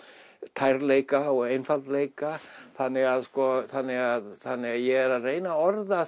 tærleika og einfaldleika þannig að þannig að þannig að ég er að reyna að orða